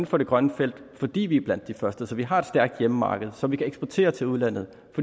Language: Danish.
for det grønne felt fordi vi er blandt de første så vi har et stærkt hjemmemarked som vi kan eksportere til udlandet